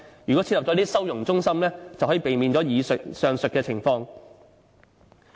如果設立收容中心，便可以避免上述情況。